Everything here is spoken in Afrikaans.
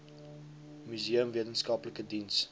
museum wetenskaplike diens